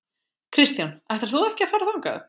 Kristján: Ætlar þú ekki að fara þangað?